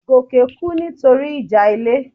Goke kú nítorí ìjà ilé